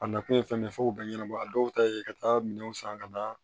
A nakun ye fɛn min ye fo k'o bɛɛ ɲɛnabɔ a dɔw ta ye ka taa minɛnw san ka na